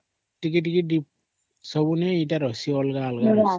ଟିକେ ଟିକେ ଠିକ ସବୁ ଥି ଅଲଗା ଅଲଗା ରହିଛି